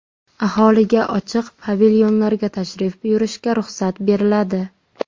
Aholiga ochiq pavilyonlarga tashrif buyurishga ruxsat beriladi.